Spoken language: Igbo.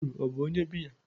Hero ọ bụ biya?